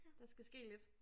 Der skal ske lidt